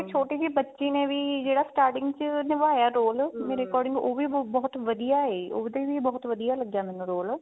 ਛੋਟੀ ਜੀ ਬੱਚੀ ਨੇ ਵੀ ਜਿਹੜਾ starting ਚ ਨਿਭਾਇਆ roll according ਉਹ ਵੀ ਬਹੁਤ ਵਧੀਆ ਹੈ ਉਹਦਾ ਵੀ ਬਹੁਤ ਵਧੀਆ ਲੱਗਿਆ ਮੀਨੂੰ roll